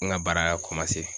N ka baara